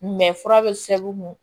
fura bɛ sɛbɛn